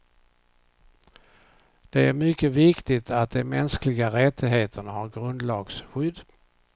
Det är mycket viktigt att de mänskliga rättigheterna har grundlagsskydd.